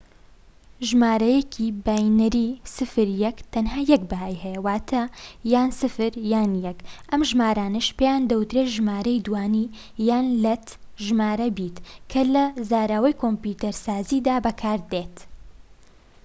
ژمارەیەکی باینەری سفر یەك تەنها یەك بەهای هەیە، واتە یان ٠ یان ١، ئەم ژمارانەش پێیان دەوترێت ژمارەی دووانی- یان لەتە ژمارە بیت کە لە زاراوەی کۆمپیوتەرسازیدا بەکاردێت